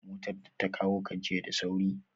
Motar da ta kawo ka jiya da sauri?